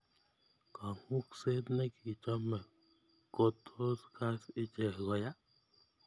Kangukset ne kichame ko tos kas ichek ko yaa.